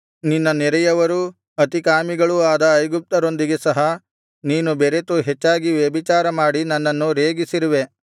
ನಿನ್ನ ನೆರೆಯವರೂ ಅತಿಕಾಮಿಗಳೂ ಆದ ಐಗುಪ್ತ್ಯರೊಂದಿಗೆ ಸಹ ನೀನು ಬೆರೆತು ಹೆಚ್ಚಾಗಿ ವ್ಯಭಿಚಾರಮಾಡಿ ನನ್ನನ್ನು ರೇಗಿಸಿರುವೆ